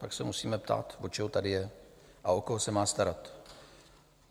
Pak se musíme ptát, od čeho tady je a o koho se má starat.